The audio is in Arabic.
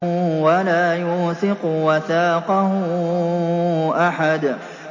وَلَا يُوثِقُ وَثَاقَهُ أَحَدٌ